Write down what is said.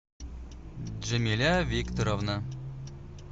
джамиля викторовна